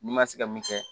N'i ma se ka min kɛ